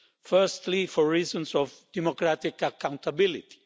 Firstly, for reasons of democratic accountability.